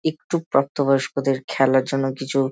একটু প্রাপ্ত বয়স্কদের খেলার জন্য কিছু --